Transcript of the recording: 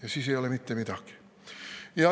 Aga siis ei ole mitte midagi.